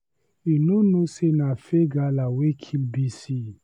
You no know say na fake gala wey kill Bisi.